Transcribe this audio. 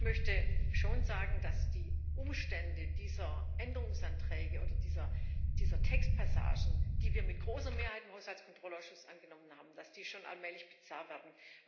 Ich möchte schon sagen, dass die Umstände dieser Änderungsanträge oder dieser Textpassagen, die wir mit großer Mehrheit im Haushaltskontrollausschuss angenommen haben, schon allmählich bizarr werden.